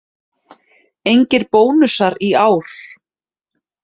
Engir bónusar í ár